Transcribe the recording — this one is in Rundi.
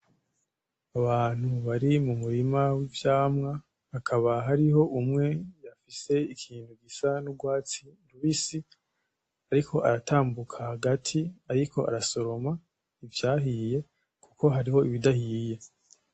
Abantu bari mu murima w'ivyamwa, hakaba hariho umwe afise ikintu gisa n'urwatsi rubisi ariko aratambuka hagati ariko arasoroma ivyahiye, kuko hari ibidahiye.